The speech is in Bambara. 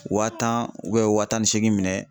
Waa tan ubiyɛn waa tan ni seegin minɛ